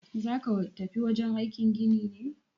Zaka tafi wajen aikin gini ne?